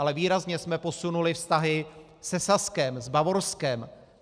Ale výrazně jsme posunuli vztahy se Saskem, s Bavorskem.